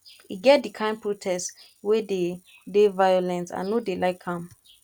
e get di kain protest wey dey dey violent i no dey like am